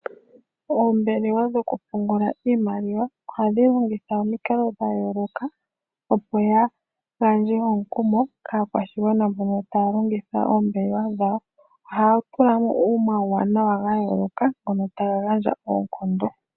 Oombelewa dhokupungula iimaliwa ohadhi longitha omikalo dha yooloka opo ya gandje omukumo kaakwashigwana mboka taya longitha oombelewa dhawo ohaya tulamo wo omauwanawa yooloka ngoka taga gandja oonkondo.